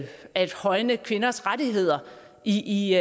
at højne kvinders rettigheder i i